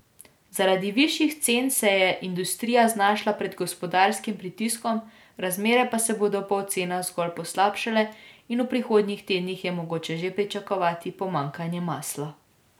Zaradi višjih cen se je industrija znašla pred gospodarskim pritiskom, razmere pa se bodo po ocenah zgolj poslabšale in v prihodnjih tednih je mogoče že pričakovati pomanjkanje masla.